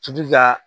Tubi ka